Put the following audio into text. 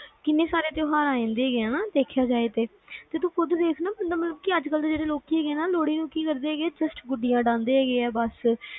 ਕਿੰਨੇ ਸਾਰੇ ਤਿਉਹਾਰ ਆਏ ਜਾਂਦੇ ਆ ਦੇਖਿਆ ਜਾਏ ਤਾ, ਤੇ ਤੂੰ ਖੁਦ ਦੇਖ ਨਾ ਜਿਵੇ ਅੱਜ ਕੱਲ ਦੇ ਲੋਕੀ ਨੇ ਲੋਹੜੀ ਨੂੰ ਕੀ ਕਰਦੇ ਹੈਗੇ just ਗੁੱਡੀਆਂ ਆ ਬਸ